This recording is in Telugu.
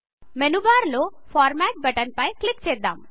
మేను బార్ లో ఫార్మ్యాట్ బటన్ పై క్లిక్ చేద్దాం